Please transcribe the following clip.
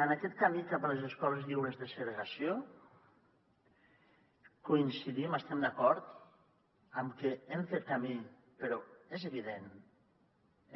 en aquest camí cap a les escoles lliures de segregació coincidim hi estem d’acord en que hem fet camí però és evident